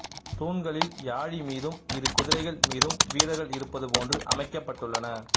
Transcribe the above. தூண்களில் யாழி மீதும் இரு குதிரைகள் மீதும் வீரர்கள் இருப்பது போன்று அமைக்கப்பட்டுள்ளன